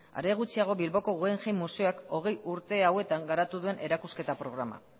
are gutxiago bilboko guggenheim museoak hogei urte hauetan garatu duen erakusketa programa